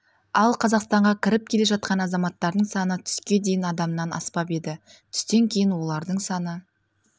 ал қазақстанға кіріп келе жатқан азаматтардың саны түске дейін адамнан аспап еді түстен кейін олардың саны